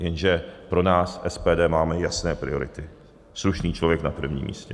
Jenže pro nás SPD máme jasné priority - slušný člověk na prvním místě.